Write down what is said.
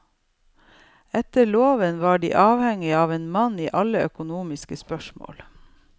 Etter loven var de avhengige av en mann i alle økonomiske spørsmål.